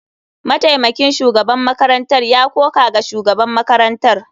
Mataimakin shugaban makarantar ya koka ga shugaban makarantar.